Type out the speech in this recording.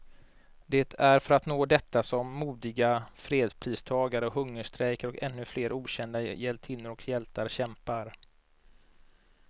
Det är för att nå detta som modiga fredspristagare hungerstrejkar, och ännu flera okända hjältinnor och hjältar kämpar.